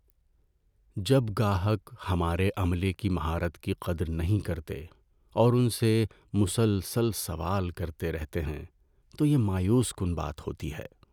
جب گاہک ہمارے عملے کی مہارت کی قدر نہیں کرتے اور ان سے مسلسل سوال کرتے رہتے ہیں تو یہ مایوس کن بات ہوتی ہے۔